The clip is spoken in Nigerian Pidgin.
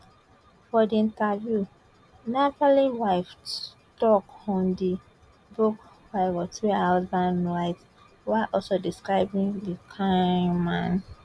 for di interview navalny wife tok on di book patriot wey her husband write while also describing di kian man